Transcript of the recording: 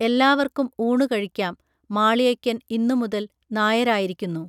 എല്ലാവർക്കും ഊണു കഴിക്കാം മാളിയയ്ക്കൻ ഇന്നു മുതൽ നായരായിരിക്കുന്നു